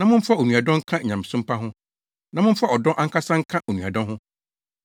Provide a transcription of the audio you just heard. na momfa onuadɔ nka nyamesom pa ho, na momfa ɔdɔ ankasa nka onuadɔ ho.